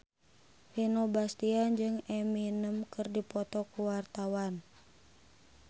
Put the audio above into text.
Vino Bastian jeung Eminem keur dipoto ku wartawan